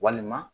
Walima